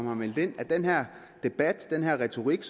har meldt ind at den her debat den her retorik